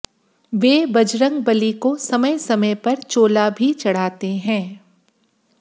वे बजरंगबली को समय समय पर चोला भी चढ़ाते हैं